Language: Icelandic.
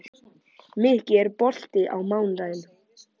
Mikki, er bolti á mánudaginn?